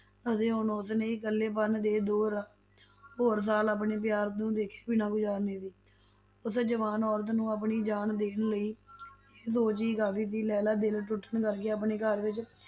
ਅਤੇ ਹੁਣ ਉਸਨੇ ਇਕੱਲੇਪੱਣ ਦੇ ਦੋ ਹੋਰ ਸਾਲ ਆਪਣੇ ਪਿਆਰ ਨੂੰ ਦੇਖੇ ਬਿਨਾਂ ਗੁਜ਼ਾਰਨੇ ਸੀ, ਉਸ ਜਵਾਨ ਔਰਤ ਨੂੰ ਆਪਣੀ ਜਾਨ ਦੇਣ ਲਈ ਇਹ ਸੋਚ ਹੀ ਕਾਫ਼ੀ ਸੀ, ਲੈਲਾ ਦਿੱਲ ਟੁਟੱਣ ਕਰਕੇ ਆਪਣੇ ਘਰ ਵਿੱਚ